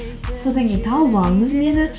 содан кейін тауып алыңыз мені